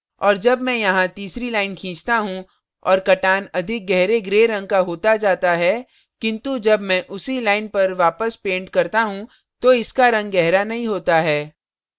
और अब मैं यहाँ तीसरी line खींचता हूँ और कटान अधिक gray gray रंग का होता जाता है किन्तु जब मैं उसी line पर वापस paint करता हूँ तो इसका रंग गहरा नहीं होता है